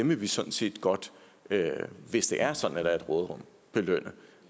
vil vi sådan set godt at hvis det er sådan at der er et råderum belønne